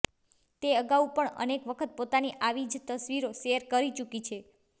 તે અગાઉ પણ અનેક વખત પોતાની આવી જ તસ્વીરો શેર કરી ચૂકી છે